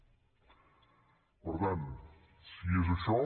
per tant si és això